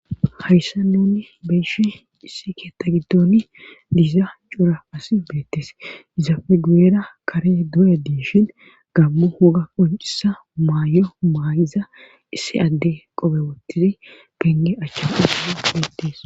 hayissa nuni beyshe issi keeta gidoni diza cora asi beettees izafe guyera kare duye diishin gamo wogga qonciza maayo maayiza issi adde qobe wottidi penge achcha fude beettes